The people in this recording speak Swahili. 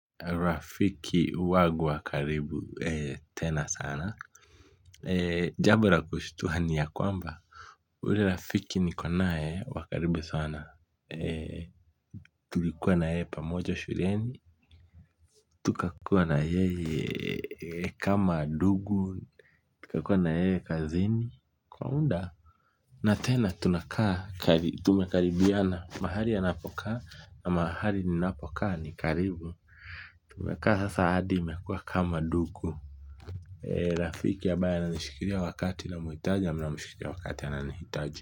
Rafiki wagu wa karibu tena sana, jambo la kushtua ni ya kwamba ule rafiki niko naye wa karibu sana, tulikuwa na yeye pamoja shuleni, tukakuwa na yeye kama dugu. Tukakuwa na yeye kazini, kwa mda. Na tena tunakaa tumekaribiana. Mahali anapokaa na mahali ninapokaa ni karibu. Tumekaa sasa hadi imekuwa kama ndugu. Rafiki anayenishikilia wakati namuitaji na namshikilia ananiitaji.